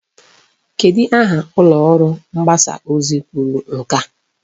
Kedu aha ụlọọrụ mgbasa ozi kwuru nke a?